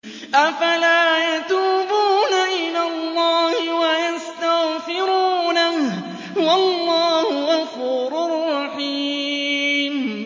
أَفَلَا يَتُوبُونَ إِلَى اللَّهِ وَيَسْتَغْفِرُونَهُ ۚ وَاللَّهُ غَفُورٌ رَّحِيمٌ